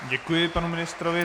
Děkuji panu ministrovi.